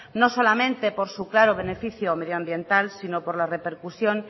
no solamente por su claro beneficio medioambiental sino por la repercusión